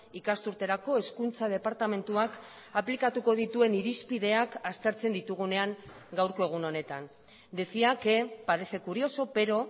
ikasturterako hezkuntza departamentuak aplikatuko dituen irizpideak aztertzen ditugunean gaurko egun honetan decía que parece curioso pero